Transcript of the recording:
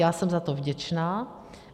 Já jsem za to vděčná.